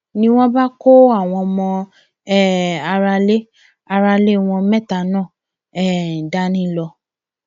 ni wọn bá kó àwọn ọmọ um aráalé aráalé wọn mẹta náà um dání lọ